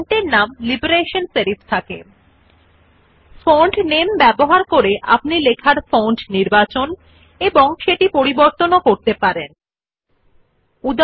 font এর নাম নির্বাচন করে ফন্ট টাইপ আপনি লগইন করেননি আপনার টেক্সট টাইপ করতে ইচ্ছুক পরিবর্তন ব্যবহৃত হয়Font নামে is used to select and change the type of font you wish to type your text in